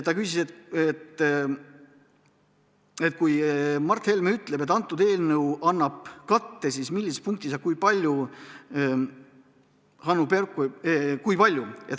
Ta küsis, et kui Mart Helme ütleb, et see eelnõu annab katte, siis millises punktis ja kui palju.